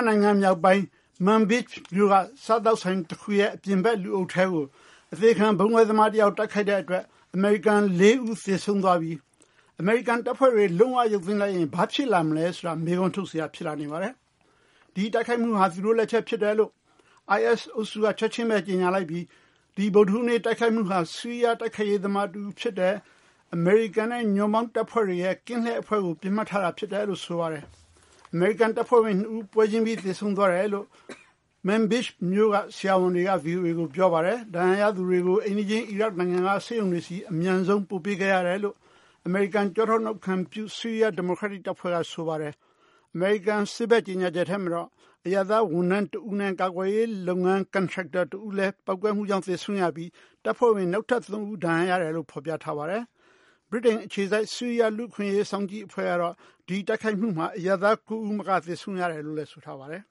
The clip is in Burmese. နိုင်ငံ မြောက်ပိုင်း Manbij မြို့ က စားသောက်ဆိုင် တခု အပြင်ဘက် လူအုပ်ထဲကို အသေခံဗုံးခွဲသမား တယောက် တိုက်ခိုက်တဲ့ အတွက် အမေရိကန် ၄ ဦး သေဆုံးသွားပြီး အမေရိကန် တပ်ဖွဲ့တွေ လုံး၀ ရုပ်သိမ်း လိုက်ရင် ဘာတွေ ဖြစ်လာမလဲ ဆိုတာ မေးခွန်းထုတ်စရာ ဖြစ်လာနေပါတယ်။ ဒီတိုက်ခိုက်မှုဟာ သူတို့ လက်ချက် ဖြစ်တယ်လို့ IS အုပ်စုက ချက်ချင်းဘဲ ကြေညာလိုက်ပြီး ဒီဗုဒ္ဓဟူးနေ့ တိုက်ခိုက်မှုဟာ ဆီးရီးယား တိုက်ခိုက်ရေး သမားတဦး ဖြစ်တယ်၊ အမေရိကန်နဲ့ ညွန့်ပေါင်းတပ်ဖွဲ့တွေရဲ့ကင်းလှည့် အဖွဲ့ကို ပစ်မှတ်ထားတာ ဖြစ်တယ်လို့ ဆိုပါတယ်။ အမေရိကန် တပ်ဖွဲ့ဝင် နှစ်ဦး ပွဲချင်းပြီး သေဆုံးသွားတယ်လို့ Manbij မြို့က ဆရာဝန်တွေက ဗွီအိုအေကို ပြောပါတယ်။ ဒဏ်ရာရသူတွေကို အိမ်နီးချင်း အီရတ် နိုင်ငံက ဆေးရုံတွေဆီ အမြန်ဆုံး ပို့ပေးခဲ့ရတယ်လို့ အမေရိကန် ကျောထောက်နောက်ခံပြု ဆီးရီးယား ဒီမိုကရက်တစ်တပ်ဖွဲ့က ဆိုပါတယ်။ အမေရိကန် စစ်ဘက် ကြေညာချက်ထဲမှာတော့ အရပ်သား ဝန်ထမ်း တဦးနဲ့ ကာကွယ်ရေး လုပ်ငန်း ကန်ထရိုက်တာ တဦးလည်း ပေါက်ကွဲမှုကြောင့် သေဆုံးရပြီး တပ်ဖွဲ့ဝင် နောက်ထပ် သုံးဦး ဒဏ်ရာ ရတယ်လို့ ဖော်ပြထားပါတယ်။ ဗြိတိန် အခြေစိုက် ဆီးရီးယား လူ့အခွင့်အရေး စောင့်ကြည့်အဖွဲ့ကတော့ ဒီတိုက်ခိုက်မှုမှာ အရပ်သား ၉ဦးမက သေဆုံးရတယ်လို့လည်း ဆိုထားပါတယ်